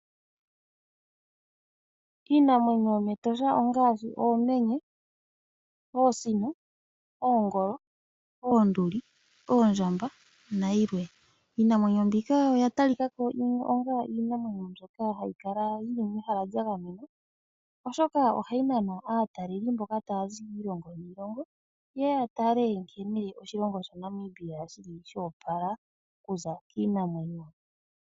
Iinamwenyo yomEtosha ongaashi oomenye, oosino, oongolo, oonduli, oondjamba, nayilwe. Iinamwenyo mbika oya talika ko onga iinamwenyo mbyoka hayi kala yi li mehala lya gamenwa, oshoka ohayi nana aataleli mboka taya zi miilongo niilongo ye ye ya tale nkene oshilongo shaNamibia shi li sha opala okuza kiinamwenyo.